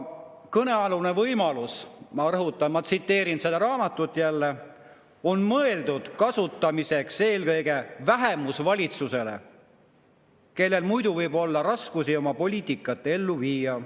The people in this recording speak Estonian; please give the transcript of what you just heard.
Kõnealune võimalus – ma rõhutan, et ma tsiteerin jälle seda raamatut – on mõeldud kasutamiseks eelkõige vähemusvalitsusele, kellel muidu võib olla raskusi oma poliitikat ellu viia.